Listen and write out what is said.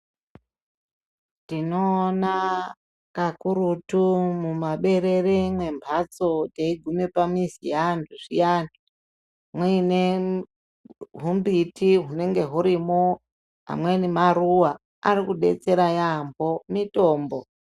Tinoona kakurutu mumaberere memhatso teiguma pamizi yeantu zviyani muine humbiti hunenge hurimo amweni maruwa. Arikudetsera yaamho mitombo.